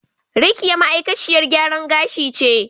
Rekiya ma'aikaciyar gyaran gashi ce.